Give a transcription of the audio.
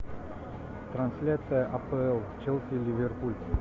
трансляция апл челси ливерпуль